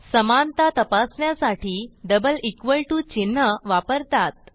समानता तपासण्यासाठी double equal to चिन्ह वापरतात